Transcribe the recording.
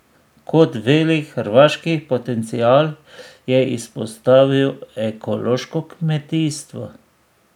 Kot velik hrvaški potencial je izpostavil ekološko kmetijstvo.